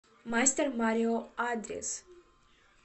мастер марио адрес